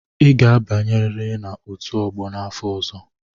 Ị ga-abanyerịrị na out ogbo n'afọ ọzọ!